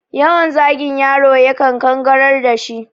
Yawan zagin yaro ya kan kangarar dashi